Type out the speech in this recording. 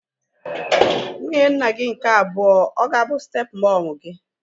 Nwunye nna gị nke abụọ ọ ga-abụ step mọmu gị?